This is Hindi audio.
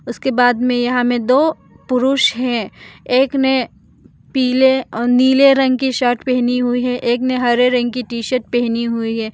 उसके बाद में यहां में दो पुरुष है एक ने पीले और नीले रंग की शर्ट पहनी हुई है एक ने हरे रंग की टी शर्ट पहनी हुई है।